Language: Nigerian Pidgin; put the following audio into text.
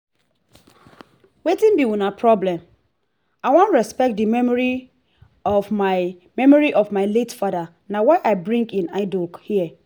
wetin be una problem? i wan respect the memory of my memory of my late father na why i bring im idol here